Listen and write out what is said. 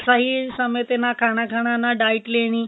ਸਹੀ ਸਮੇਂ ਤੇ ਨਾ ਖਾਨਾ ਖਾਣਾ ਨਾ diet ਲੈਣੀ